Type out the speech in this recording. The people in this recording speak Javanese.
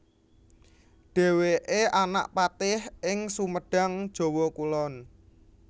Dhèwèké anak patih ing Sumedang Jawa Kulon